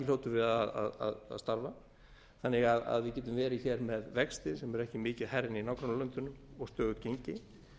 hljótum við að starfa þannig að við getum verið með vexti sem eru ekki mikið hærri en í nágrannalöndunum og stöðugt gengi